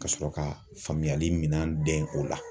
Ka sɔrɔ k'a faamuyali min dɛn o la.